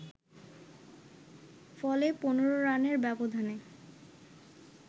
ফলে ১৫ রানের ব্যবধানে